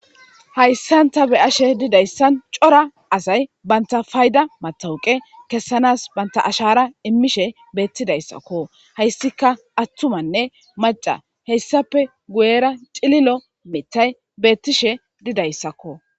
Hayisan ta be ashe dizayisan co,ra asayi banta fayida matawuqe kesanasi banta ashara imishe betizayisako hayisika atumane maca,a hesappe guyera ci,lilo mithayi betishe dizayisako